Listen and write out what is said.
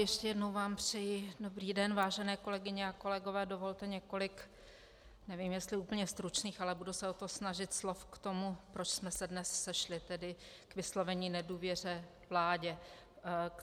Ještě jednou vám přeji dobrý den, vážené kolegyně a kolegové, dovolte několik - nevím, jestli úplně stručných, ale budu se o to snažit - slov k tomu, proč jsme se dnes sešli, tedy k vyslovení nedůvěry vládě.